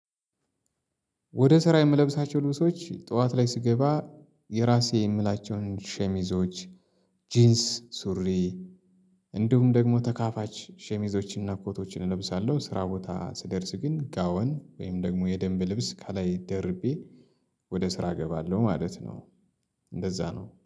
ወደ ስራ የምለብሳቸው ልብሶች ጠዋት ላይ ስገባ የራሴ የምላቸውን ሸሚዞች ጂንስ ሱሪ እንዲሁም ደግሞ ተካፋች ሸሚዞችንና ኮቶችን እለብሳለሁ ስራ ቦታ ስደርስ ግን ጋዋን ወይም ደግሞ የደንብ ልብስ ካላይ ደርቤ ወደ ስራ እገባለሁ ማለት ነው እንደዛ ነው።